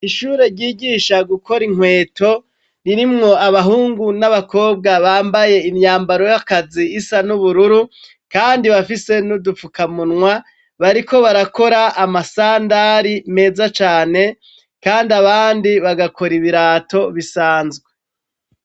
Ishure ryigisha gukora inkweto, ririmwo abahungu n'abakobwa bambaye imyambaro y'akazi isa n'ubururu kandi bafise n'udupfukamunwa, bariko barakora amasandari meza cane kandi abandi bagakora ibirato bisanzwe.